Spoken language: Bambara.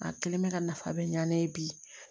A kelen bɛ ka nafa bɛ ɲa ne ye bi